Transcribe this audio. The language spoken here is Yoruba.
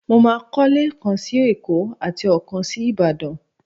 Mo máa kọ́lé kan sí Èkó àti ọ̀kan sí Ìbàdàn.